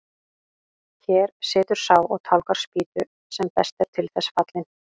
Hér situr sá og tálgar spýtu sem best er til þess fallinn.